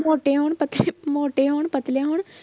ਮੋਟੇ ਹੋਣ ਪਤਲੇ ਮੋਟੇ ਹੋਣ ਪਤਲੇ ਹੋਣ